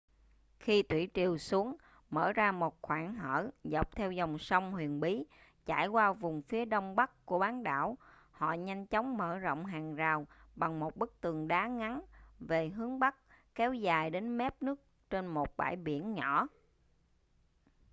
khi thủy triều xuống mở ra một khoảng hở dọc theo dòng sông huyền bí chảy qua vùng phía đông bắc của bán đảo họ nhanh chóng mở rộng hàng rào bằng một bức tường đá ngắn về hướng bắc kéo dài đến mép nước trên một bãi biển nhỏ